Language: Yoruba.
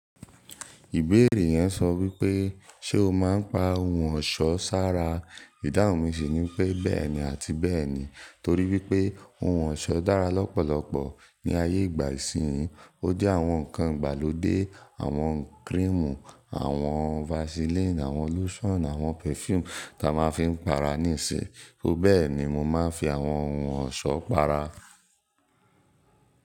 Ìbéèrè yẹn sọ wípé ṣe o máa ń pa ohun ọ̀ṣọ́ sára? Ìdáhun mi sì ni pé bẹ́ẹ̀ni àti bẹ́ẹ̀ni torí wípé ohun ọ̀ṣọ́ dára lọ́pọ̀lọpọ̀ ní ayé ìgbà ìsínyi. Ó jẹ́ àwọn ǹkan ìgbàlódé, àwọn kírímù, àwọn vaseline, àwọn lotion, àwọn perfume tí a máa ń fi ń para níìsín. Ó bẹ́ẹ̀ ni mo máa ń fi àwọn ohun ọ̀ṣọ́ para.